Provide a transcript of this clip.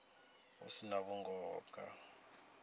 hu si na vhungoho kha